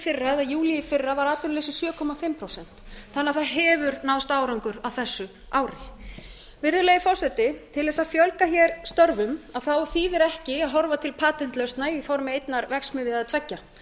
fyrra eða júlí í fyrra var atvinnuleysið sjö og hálft prósent þannig að það hefur náðst árangur á þessu ári virðulegi forseti til þess að fjölga hér störfum þýðir ekki að horfa til patentlausna í formi einnar verksmiðju eða tveggja